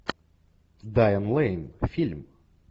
дайан лэйн фильм